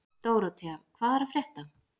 Dórótea, hvað er að frétta?